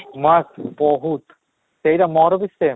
ନା ବହୁତ ସେଇଟା ମୋର ବି same